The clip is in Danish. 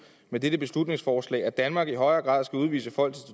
med dette beslutningsforslag at danmark i højere grad skal udvise folk